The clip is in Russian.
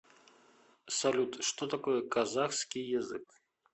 салют что такое казахский язык